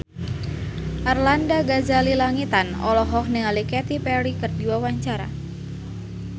Arlanda Ghazali Langitan olohok ningali Katy Perry keur diwawancara